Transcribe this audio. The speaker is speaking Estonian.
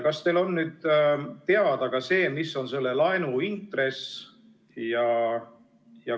Kas teil on nüüd teada, mis on selle laenu intress?